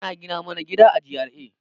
Ana gina mana gida a GRA